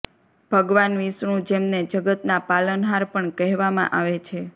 ભગવાન વિષ્ણુ જેમને જગતના પાલનહાર પણ કહેવામાં આવે છે